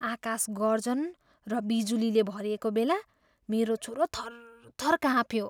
आकाश गर्जन र बिजुलीले भरिएको बेला मेरो छोरो थरथर काँप्यो।